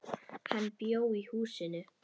Hann bjó í húsinu.